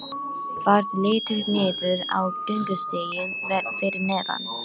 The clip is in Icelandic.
Varð litið niður á göngustíginn fyrir neðan.